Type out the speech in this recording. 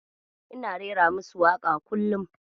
Ina rera musu waka kullum.